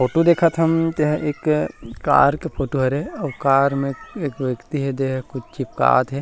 Photo देखत हन तेहा एक कार के फोटो हरे अऊ कार में एक व्यक्ति हे तेहा कुछ चिपकात हे।